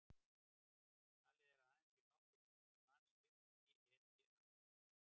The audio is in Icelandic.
Talið er að aðeins séu nokkur hundruð manns virk í ETA.